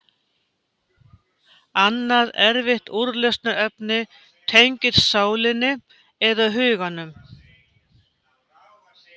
Annað erfitt úrlausnarefni tengist sálinni, eða huganum.